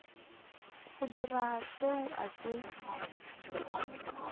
go dira seo a se